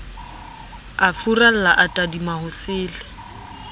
a furalla a tadima hosele